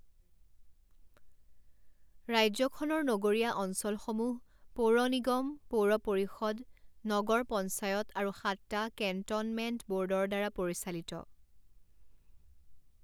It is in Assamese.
ৰাজ্যখনৰ নগৰীয় অঞ্চলসমূহ পৌৰ নিগম, পৌৰ পৰিষদ, নগৰ পঞ্চায়ত, আৰু সাতটা কেণ্ট'নমেণ্ট ব'ৰ্ডৰ দ্বাৰা পৰিচালিত।